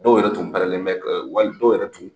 Dɔw yɛrɛ tun pɛrɛlen bɛ wali dɔw yɛrɛ tun